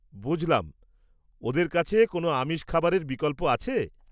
বুঝলাম, ওদের কাছে কোনও আমিষ খাবারের বিকল্প আছে?